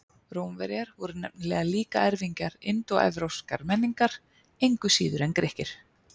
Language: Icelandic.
Rómverjar voru nefnilega líka erfingjar indóevrópskrar menningar, engu síður en Grikkir.